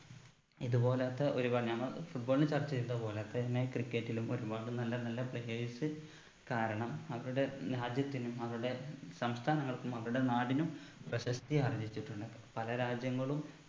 ഇത് പോലോത്ത ഒരുപാട് നമ്മ football ൽ ചർച്ച ചെയ്തത് പോലെ തന്നെ cricket ലും ഒരുപാട് നല്ല നല്ല players കാരണം അവരുടെ രാജ്യത്തിനും അവരുടെ സംസ്ഥാനനങ്ങൾക്കും അവരുടെ നാടിനും പ്രശസ്തിയാർജ്ജിച്ചിട്ടുണ്ട് പല രാജ്യങ്ങളും